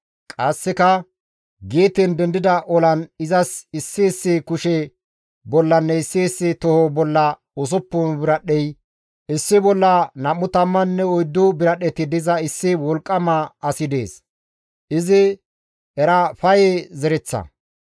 Qasseka Geeten dendida olan izas issi issi kushe bollanne issi issi toho bolla usuppun biradhdhey, issi bolla nam7u tammanne oyddu biradhdheti diza issi wolqqama asi dees; izi Erafaye zereththa.